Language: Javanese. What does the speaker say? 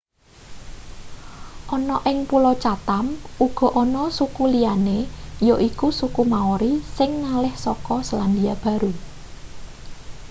ana ing pulo chatam uga ana suku liyane yaiku suku maori sing ngalih saka selandia baru